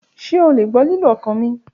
Ṣe o le gbọ ọkan mi lilu?